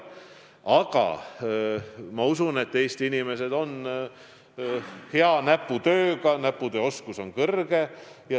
Aga ma usun, et Eesti inimesed on hea näputööoskusega.